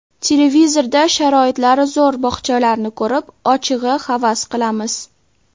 Televizorda sharoitlari zo‘r bog‘chalarni ko‘rib, ochig‘i havas qilamiz.